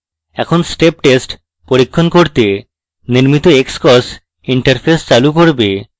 এটি step test পরীক্ষণ করতে নির্মিত xcos interface চালু করবে